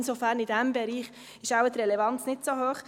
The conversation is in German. Insofern ist in diesem Bereich die Relevanz wohl nicht so hoch.